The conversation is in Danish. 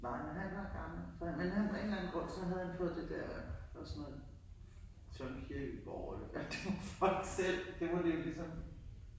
Nej men han var gammel så han men af en eller anden grund så havde han fået det der var sådan noget Søren Kierkegaard eller det var fra ham selv det må det jo ligesom